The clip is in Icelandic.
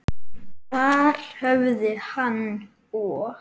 Þar höfðu hann og